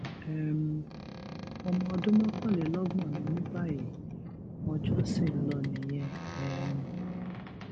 um ọmọ ọdún mọkànlélọgbọn ni mí báyìí ọjọ ṣì ń lọ nìyẹn um